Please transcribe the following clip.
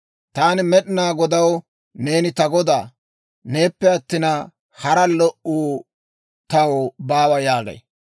Taani Med'inaa Godaw, «Neeni ta Godaa; Neeppe attin, hara lo"uu taw baawa» yaagay.